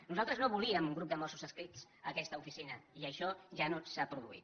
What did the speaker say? nosaltres no volíem un grup de mossos adscrits a aquesta oficina i això ja no s’ha produït